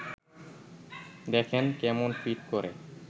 দেখেন, কেমন ফিট করে